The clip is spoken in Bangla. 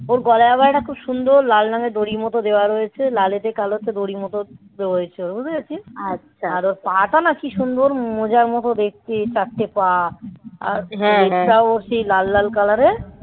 ওর গলায় আবার একটা খুব সুন্দর. লাল রঙের দড়ির মতো দেওয়া রয়েছে. লালেতে কালো হচ্ছে দড়ির মতো. বুঝতে পেরেছিস? আর ওর পাটা না কি সুন্দর. মোজার মতো দেখি. চারটে পা. আর এটাও সেই লাল লাল color এর. হ্যাঁ লেজটাও সেই লাল লাল color এর